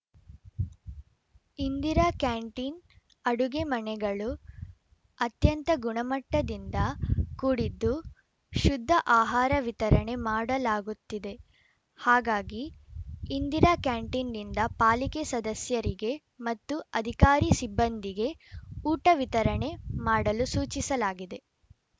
Indira canteen ಅಡುಗೆ ಮನೆಗಳು ಅತ್ಯಂತ ಗುಣಮಟ್ಟದಿಂದ ಕೂಡಿದ್ದು ಶುದ್ಧ ಆಹಾರ ವಿತರಣೆ ಮಾಡಲಾಗುತ್ತಿದೆ ಹಾಗಾಗಿ ಇಂದಿರಾ ಕ್ಯಾಂಟೀನ್‌ನಿಂದ ಪಾಲಿಕೆ ಸದಸ್ಯರಿಗೆ ಮತ್ತು ಅಧಿಕಾರಿ ಸಿಬ್ಬಂದಿಗೆ ಊಟ ವಿತರಣೆ ಮಾಡಲು ಸೂಚಿಸಲಾಗಿದೆ